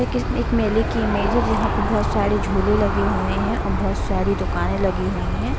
ये किसी एक मेले की इमेज है जहाँ पर बहुत सारे झूले लगे हुए हैं और बहुत सारी दुकाने लगी हुई हैं।